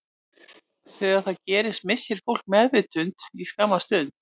Þegar það gerist missir fólk meðvitund í skamma stund.